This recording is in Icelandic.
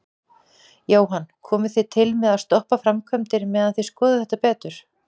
Jóhann: Komið þið til með að stoppa framkvæmdir meðan þið skoðið þetta betur?